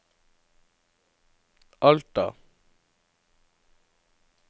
Alta